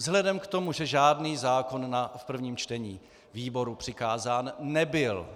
Vzhledem k tomu, že žádný zákon v prvním čtení výboru přikázán nebyl,